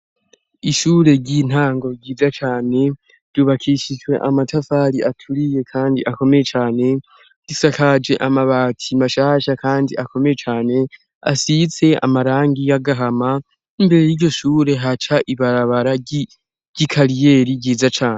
Ishure ry'intango ryiza cane ryubakishijwe amatafari aturiye, kandi akomeye cane risakaje amabati mashasha, kandi akomeye cane asitse amarangi y'agahama imbere y'iyo shure haca ibarabara ry'i kariyeli ryiza cane.